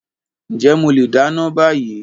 Ǹjẹ́ mo leè dáná bá yii.